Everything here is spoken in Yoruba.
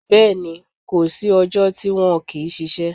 Bẹ́ẹ̀ni. Kò sí ọjọ́ tí wọn kì í ṣiṣẹ́.